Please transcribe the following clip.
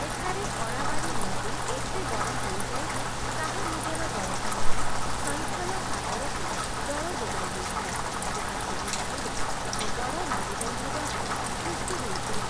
ଏଠାରେ ଅରାୱାରୀ ନଦୀ ଏତେ ବଡ଼ ହୋଇଯାଏ ଯେ ତାହା ନିଜର ଜଳଭଣ୍ଡାର 'ସୈଁଥଲ ସାଗର'କୁ ଜଳ ଯୋଗାଇ ଦେଇଥାଏ, ଯାହା ସେହି ନଦୀରେ ଏକ ବଡ଼ ନଦୀବନ୍ଧ ଦ୍ୱାରା ସୃଷ୍ଟି ହୋଇଥିଲା ।